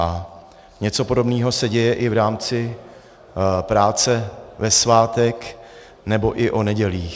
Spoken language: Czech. A něco podobného se děje i v rámci práce ve svátek nebo i o nedělích.